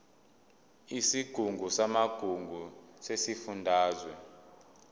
isigungu samagugu sesifundazwe